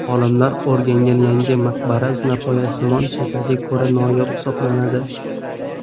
Olimlar o‘rgangan yangi maqbara zinapoyasimon shakliga ko‘ra noyob hisoblanadi.